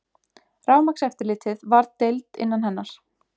Rafmagnseftirlitið varð deild innan hennar.